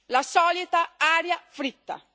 La solita aria fritta.